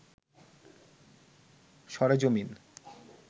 সরেজমিন